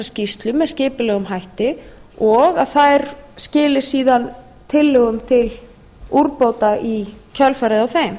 með skipulegum hætti og að þær skili síðan tillögum til úrbóta í kjölfarið á þeim